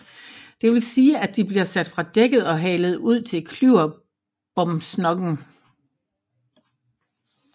Det vil sige at de bliver sat fra dækket og halet ud til klyverbomsnokken